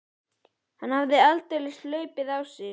Hann hafði aldeilis hlaupið á sig.